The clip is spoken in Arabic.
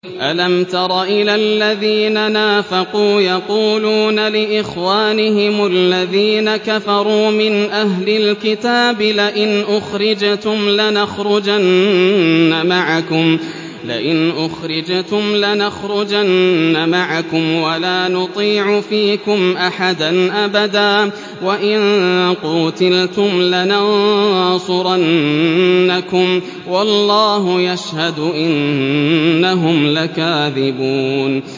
۞ أَلَمْ تَرَ إِلَى الَّذِينَ نَافَقُوا يَقُولُونَ لِإِخْوَانِهِمُ الَّذِينَ كَفَرُوا مِنْ أَهْلِ الْكِتَابِ لَئِنْ أُخْرِجْتُمْ لَنَخْرُجَنَّ مَعَكُمْ وَلَا نُطِيعُ فِيكُمْ أَحَدًا أَبَدًا وَإِن قُوتِلْتُمْ لَنَنصُرَنَّكُمْ وَاللَّهُ يَشْهَدُ إِنَّهُمْ لَكَاذِبُونَ